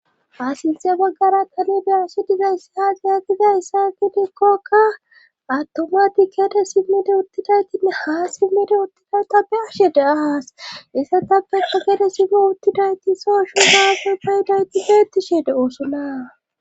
Ha sinthe baggara xelishe qze dizaysa haagihakiza issaatidikkokka attoma tikkede simmide uttidaytinne haa simmede uttida ta beshe de a haas issa ta pe pakede simme uttidayti soashu daafo fayidayti heetishe de oosonaa